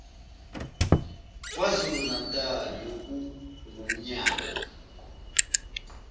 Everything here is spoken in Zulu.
kwazulu natali okungumnyango